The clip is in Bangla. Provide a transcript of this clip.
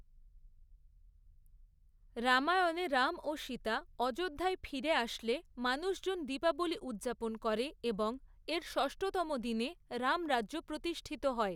রামায়ণে, রাম ও সীতা অযোধ্যায় ফিরে আসলে মানুষজন দীপাবলি উদ্‌যাপন করে এবং এর ষষ্ঠতম দিনে রামরাজ্য প্রতিষ্ঠিত হয়।